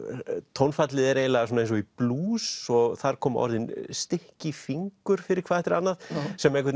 að tónfallið er eiginlega svona eins og í blús og þar koma orðin stykki fingur fyrir hvað eftir annað sem einhvern